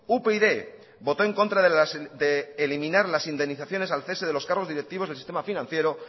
upyd votó en contra de eliminar las indemnizaciones al cese de los cargos directivos del sistema financiero